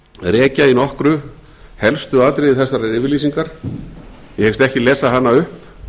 rekja í nokkru helstu atriði þessarar yfirlýsingar ég hyggst ekki lesa hana upp